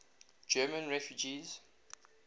german refugees